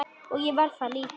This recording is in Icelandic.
Og ég var það líka.